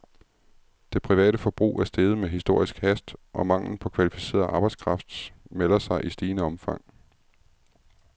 Det private forbrug er steget med historisk hast, og manglen på kvalificeret arbejdskraft melder sig i stigende omfang.